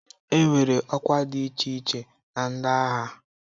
Enwere ọkwa dị iche iche na ndị agha.